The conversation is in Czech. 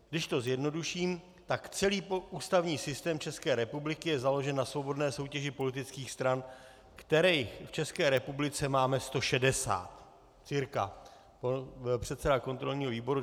Když to zjednoduším, tak celý ústavní systém České republiky je založen na svobodné soutěži politických stran, kterých v České republice máme 160 cca.